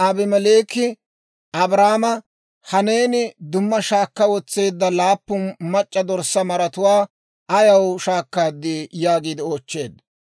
Abimeleeki Abrahaama, «Ha neeni dumma shaakka wotseedda laappun mac'c'a dorssaa maratuwaa ayaw shaakkaadii?» yaagiide oochcheedda.